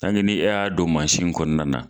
ni e y'a don mansin kɔnɔna na.